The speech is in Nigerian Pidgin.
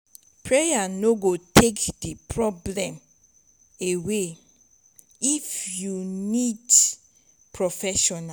prayer no go take di problem away but if you meet professional